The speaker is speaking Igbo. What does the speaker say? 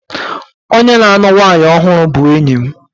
Onye na-alụ nwanyị ọhụrụ bụ enyi m.